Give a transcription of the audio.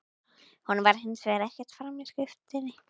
Honum fór hins vegar ekkert fram í skriftinni.